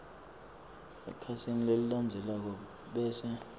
ekhasini lelilandzelako bese